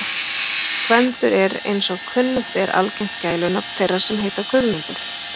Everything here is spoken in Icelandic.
Gvendur er eins og kunnugt er algengt gælunafn þeirra sem heita Guðmundur.